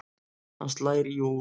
Hann slær í og úr.